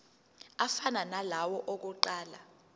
afana nalawo awokuqala